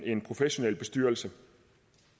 en professionel bestyrelse